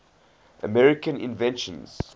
american inventions